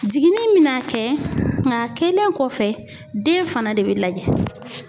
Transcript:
Jiginni mɛna kɛ nka a kelen kɔfɛ den fana de bɛ lajɛ.